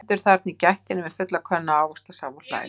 Stendur þarna í gættinni með fulla könnu af ávaxtasafa og hlær.